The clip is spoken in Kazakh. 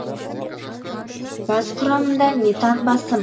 газ құрамында метан басым